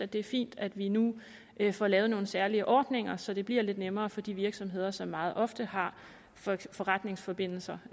det er fint at vi nu får lavet nogle særlige ordninger så det bliver lidt nemmere for de virksomheder som meget ofte har forretningsforbindelser